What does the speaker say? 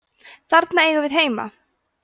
þarna eigum við heima